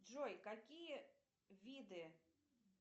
джой какие виды